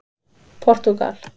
Portúgal